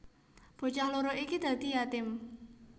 Bocah loro iki dadi yatim